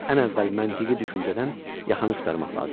Ən əvvəl məntiqi düşüncədən yaxaını qurtarmaq lazımdır.